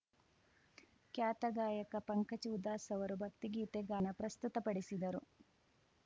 ಖ್ಯಾತ ಗಾಯಕ ಪಂಕಜ್‌ ಉಧಾಸ್‌ ಅವರು ಭಕ್ತಿಗೀತೆ ಗಾಯನ ಪ್ರಸ್ತುತಪಡಿಸಿದರು